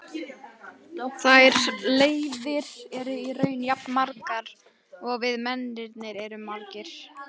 Þær leiðir eru í raun jafn margar og við mennirnir erum margir.